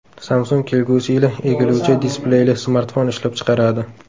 Samsung kelgusi yili egiluvchi displeyli smartfon ishlab chiqaradi.